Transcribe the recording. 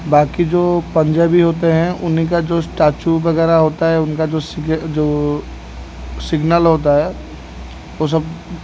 बाकी जो पंजाबी होते हैं उनका जो स्टैचू वगैरा होता है उनका जो सीग अ जो सिग्नल होता है वो सब --